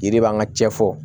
Yiri b'an ka cɛ fɔ